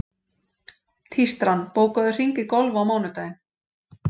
Tístran, bókaðu hring í golf á mánudaginn.